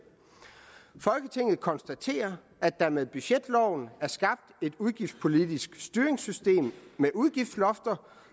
folketinget konstaterer at der med budgetloven er skabt et udgiftspolitisk styringssystem med udgiftslofter